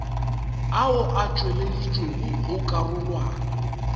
ao a tšweleditšwego go karolwana